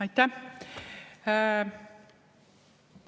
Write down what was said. Aitäh!